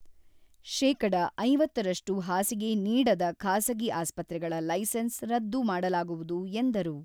ಶೇಕಡಾ ಐವತ್ತು ರಷ್ಟು ಹಾಸಿಗೆ ನೀಡದ ಖಾಸಗಿ ಆಸ್ಪತ್ರೆಗಳ ಲೈಸೆನ್ಸ್ ರದ್ದು ಮಾಡಲಾಗುವುದು ಎಂದರು.